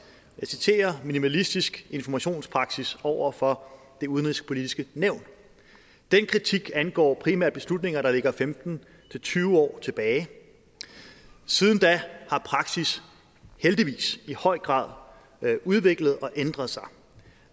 jeg citerer minimalistisk informationspraksis over for det udenrigspolitiske nævn den kritik angår primært beslutninger der ligger femten til tyve år tilbage siden da har praksis heldigvis i høj grad udviklet og ændret sig